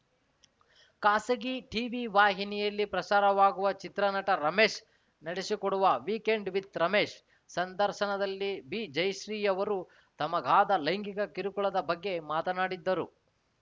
ಖಾಸಗಿ ಟಿವಿವಾಹಿನಿಯಲ್ಲಿ ಪ್ರಸಾರವಾಗುವ ಚಿತ್ರನಟ ರಮೇಶ್‌ ನಡೆಸಿಕೊಡುವ ವೀಕೆಂಡ್‌ ವಿಥ್‌ ರಮೇಶ್‌ ಸಂದರ್ಶನದಲ್ಲಿ ಬಿಜಯಶ್ರೀಯವರು ತಮಗಾದ ಲೈಂಗಿಕ ಕಿರುಕುಳದ ಬಗ್ಗೆ ಮಾತನಾಡಿದ್ದರು